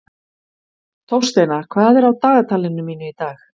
Þórsteina, hvað er á dagatalinu mínu í dag?